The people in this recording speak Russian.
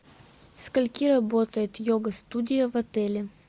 со скольки работает йога студия в отеле